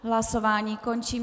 Hlasování končím.